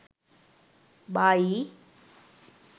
buy